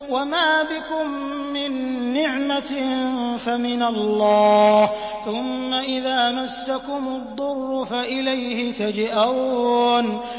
وَمَا بِكُم مِّن نِّعْمَةٍ فَمِنَ اللَّهِ ۖ ثُمَّ إِذَا مَسَّكُمُ الضُّرُّ فَإِلَيْهِ تَجْأَرُونَ